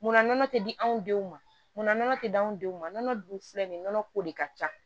Munna nɔnɔ tɛ di anw denw ma munna nɔnɔ tɛ di anw denw ma nɔnɔ dun filɛ nin ye nɔnɔ ko de ka ca